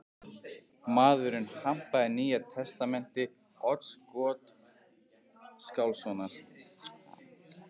Maðurinn hampaði Nýja testamenti Odds Gottskálkssonar.